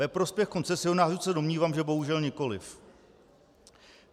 Ve prospěch koncesionářů se domnívám, že bohužel nikoli.